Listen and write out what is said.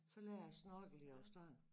Så lærer jeg at snorkle i Australien